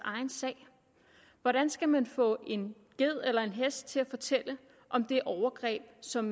sag hvordan skal man få en ged eller en hest til at fortælle om det overgreb som